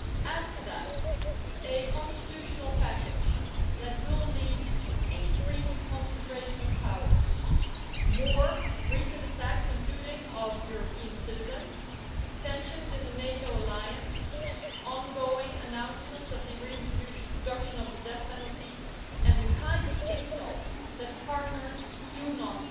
Add to that a constitutional package that will lead to increased concentration of powers, more recent attacks, including of European citizens, tensions in the NATO alliance, ongoing announcements of the reintroduction of the death penalty and the kinds of insults that partners do not